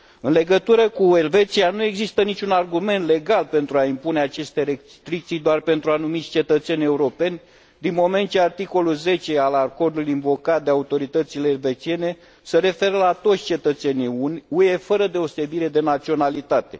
În legătură cu Elveția, nu există niciun argument legal pentru a impune aceste restricții doar pentru anumiți cetățeni europeni, din moment ce articolul 10 al acordului invocat de autoritățile elvețiene se referă la toți cetățenii UE, fără deosebire de naționalitate.